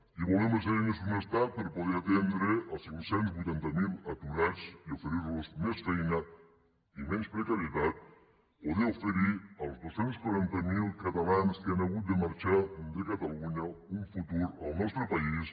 i volem les eines d’un estat per a poder atendre els cinc cents i vuitanta miler aturats i oferir los més feina i menys precarietat poder oferir als dos cents i quaranta miler catalans que han hagut de marxar de catalunya un futur al nostre país